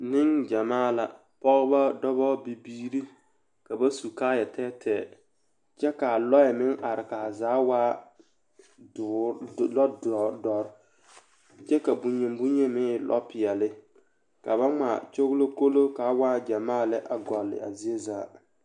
Neŋgyamaa la pɔgebɔ dɔbɔ bibiire ka ba su kaayɛ tɛɛtɛɛ kyɛ kaa lɔɛ meŋ are kaa zaa waa doɔ doɔre kye ka bonyine boŋyine meŋ e peɛle ka ba ngmaa kyoglokolo kaa waa gyamaa lɛ a gɔlle a zie zaa.